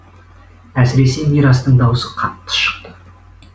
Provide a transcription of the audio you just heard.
әсіресе мирастың даусы қатты шықты